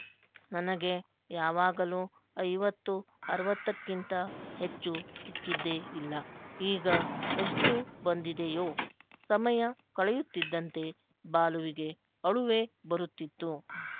ನನಗೆ ಯಾವಾಗಲೂ ಐವತ್ತು ಅರವತ್ತಕ್ಕಿಂತ ಹೆಚ್ಚು ಸಿಕ್ಕಿದ್ದೇ ಇಲ್ಲ ಈಗ ಎಷ್ಟು ಬಂದಿದೆಯೋ ಸಮಯ ಕಳೆಯುತ್ತಿದ್ದಂತೆ ಬಾಲುವಿಗೆ ಅಳುವೇ ಬರುತ್ತಿತ್ತು